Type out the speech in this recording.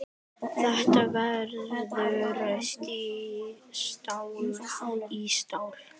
Þetta verður stál í stál.